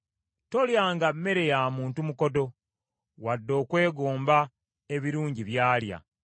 Tolyanga mmere ya muntu mukodo, wadde okwegomba ebirungi by’alya.